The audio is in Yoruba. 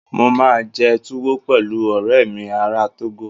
Mo máa jẹ Tuwo pẹ̀lú ọ̀rẹ́ mi ará Togo